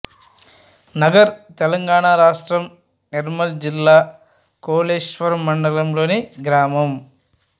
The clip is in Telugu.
నగర్ తెలంగాణ రాష్ట్రం నిర్మల్ జిల్లా లోకేశ్వరం మండలంలోని గ్రామం